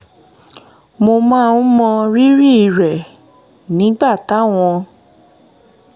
mo máa ń mọ rírì um rẹ̀ nígbà táwọn